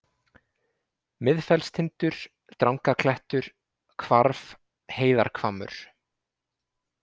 Miðfellstindur, Drangaklettur, Hvarf, Heiðarhvammur